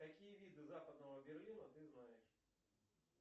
какие виды западного берлина ты знаешь